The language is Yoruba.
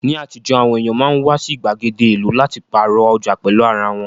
Ní àtijọ́, àwọn èèyàn máa ń wá sí ìgbàgede ìlú láti pààrọ̀ ọjà pẹ̀lú ara wọn